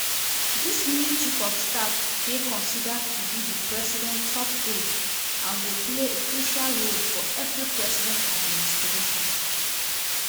dis new chief of staff dey considered to be di president top aide and go play a crucial role for everi president administration.